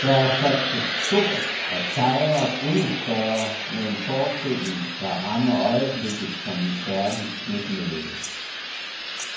Der er satset stort og sejret endnu større med en forestilling, der rammer øjeblikket som en kærlig knytnæve.